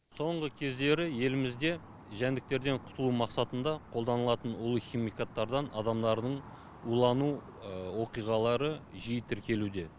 соңғы кездері елімізде жәндіктерден құтылу мақсатында қолданылатын улы химикаттардан адамдардың улану оқиғалары жиі тіркелуде